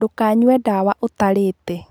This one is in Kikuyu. Ndũkanyue ndawa ũtarĩte.